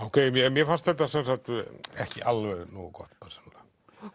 mér fannst þetta ekki alveg nógu gott persónulega